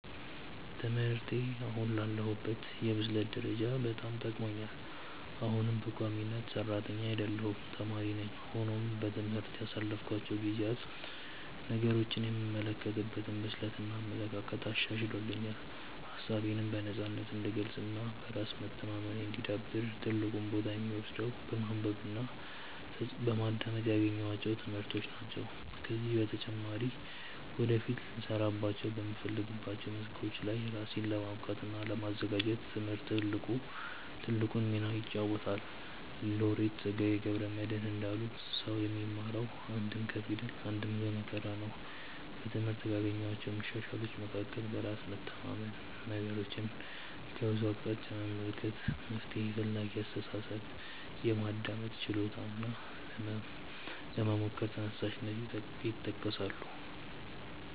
ትምህርቴ አሁን ላለሁበት የብስለት ደረጃ በጣም ጠቅሞኛል። አሁንም በቋሚነት ሰራተኛ አይደለሁም ተማሪ ነኝ። ሆኖም በትምህርት ያሳለፍኳቸው ጊዜያት ነገሮችን የምመለከትበትን ብስለት እና አመለካከት አሻሽሎልኛል። ሀሳቤነም በነፃነት እንድገልፅ እና በራስ መተማመኔ እንዲዳብር ትልቁን ቦታ የሚወስደው በማንበብ እና በማዳመጥ ያገኘኋቸው ትምህርቶች ናቸው። ከዚህም በተጨማሪ ወደፊት ልሰራባቸው በምፈልጋቸው መስኮች ላይ ራሴን ለማብቃት እና ለማዘጋጀት ትምህርት ትልቁን ሚና ይጫወታል። ሎሬት ፀጋዬ ገብረ መድህን እንዳሉት "ሰው የሚማረው አንድም ከፊደል አንድም ከመከራ ነው"።በትምህርት ካገኘኋቸው መሻሻሎች መካከል በራስ መተማመን፣ ነገሮችን ከብዙ አቅጣጫ መመልከት፣ መፍትሔ ፈላጊ አስተሳሰብ፣ የማዳመጥ ችሎታ እና ለመሞከር ተነሳሽነት ይጠቀሳሉ።